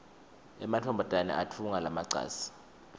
emantfombane atfunga emacansi